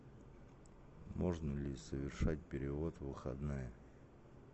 можно ли совершать перевод в выходные